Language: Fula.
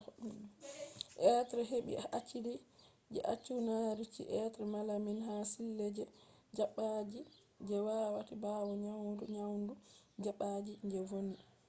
be hebi acidi je cyanuric be malamine ha sille je dabbaji je waati bawo nyamugo nyamdu dabbaji je vonni